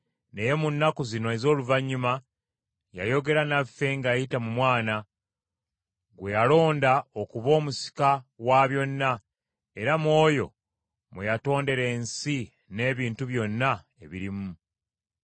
naye mu nnaku zino ez’oluvannyuma yayogera naffe ng’ayita mu Mwana, gwe yalonda okuba omusika wa byonna, era mu oyo mwe yatondera ensi n’ebintu byonna ebirimu.